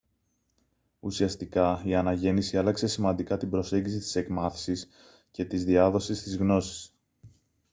ουσιαστικά η αναγέννηση άλλαξε σημαντικά την προσέγγιση της εκμάθησης και της διάδοσης της γνώσης